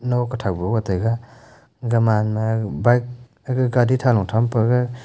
now kathah bu bo taiga aga ma na aga ma bike khe gari thani than pe gega.